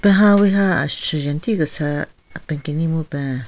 Ha wi ha ashujen tikese apen kenyi mupen.